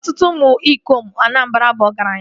Ọtụtụ ụmụ ikom Anamabra bu ọgaranya